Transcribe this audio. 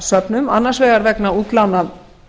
bókasöfnum annars vegar vegna útlána